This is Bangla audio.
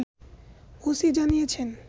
ওসি জানিয়েছেন